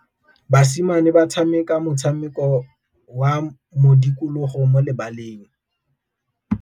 Basimane ba tshameka motshameko wa modikologô mo lebaleng.